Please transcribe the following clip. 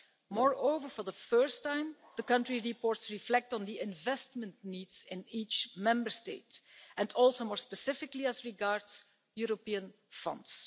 Moreover, for the first time, the country reports reflect on the investment needs in each Member State and also, more specifically, as regards European funds.